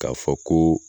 K'a fɔ ko